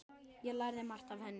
Ég lærði margt af henni.